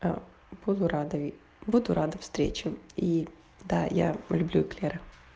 ээ буду рада и буду рада встречи и да я по люблю эклеры